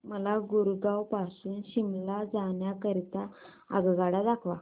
मला गुरगाव पासून शिमला जाण्या करीता आगगाड्या दाखवा